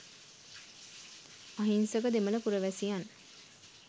අහිංසක දෙමළ පුරවැසියන්